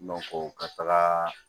ka taga